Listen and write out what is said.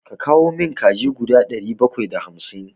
Ka kawo min kaji guda ɗari bakwai da hamsin!